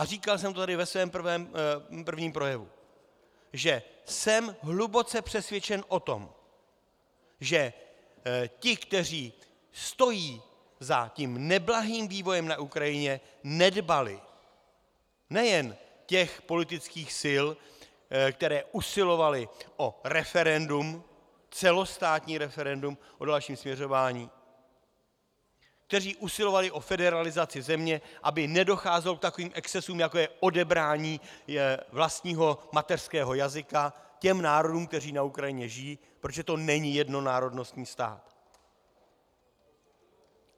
A říkal jsem to tady ve svém prvním projevu, že jsem hluboce přesvědčen o tom, že ti, kteří stojí za tím neblahým vývojem na Ukrajině, nedbali nejen těch politických sil, které usilovaly o referendum, celostátní referendum o dalším směřování, kteří usilovali o federalizaci země, aby nedocházelo k takovým excesům, jako je odebrání vlastního mateřského jazyka těm národům, které na Ukrajině žijí, protože to není jednonárodnostní stát.